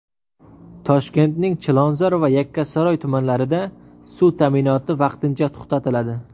Toshkentning Chilonzor va Yakkasaroy tumanlarida suv ta’minoti vaqtincha to‘xtatiladi.